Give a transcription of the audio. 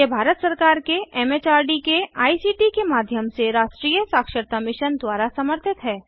यह भारत सरकार के एम एच आर डी के आई सी टी के माध्यम से राष्ट्रीय साक्षरता मिशन द्वारा समर्थित है